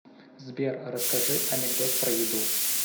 сбер расскажи анекдот про еду